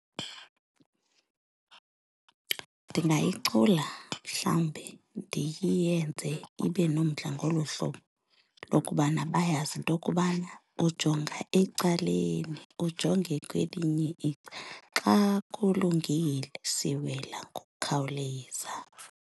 Ndingayicula mhlawumbi ndiyenze ibe nomdla ngolu hlobo lokubana bayazi into yokubana, ujonga ecaleni, ujonge kwelinye icala. Xa kulungile siwela ngokukhawuleza.